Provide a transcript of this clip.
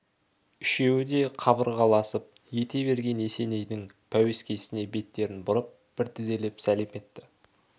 үшеуі де қабырғаласып ете берген есенейдің пәуескесіне беттерін бұрып бір тізелеп сәлем етті